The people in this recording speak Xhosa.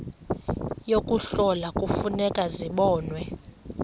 yokuhlola kufuneka zibonwe